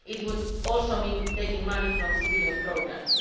It would also mean taking money from civilian programmes.